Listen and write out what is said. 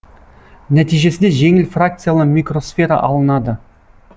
нәтижесінде жеңіл фракциялы микросфера алынады